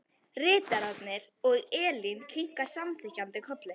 Ritararnir og Elín kinka samþykkjandi kolli.